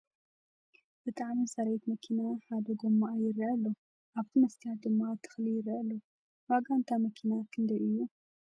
ብጣዕሚ ዝፀርየት መኪና ሓደ ጎማአ ይርአ ኣሎ ኣብቲ ምስትያት ድማ ተክሊ ይረአ ኣሎ ። ዋጋ ንይታ ምኪና ክንደይ እዩ ?